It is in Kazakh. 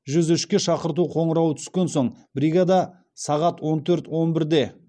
жүз үшке шақырту қоңырауы түскен соң бригада сағат он төрт он бірде